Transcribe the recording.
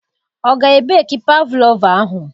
Ọ ga ebeki pavlova ahụ?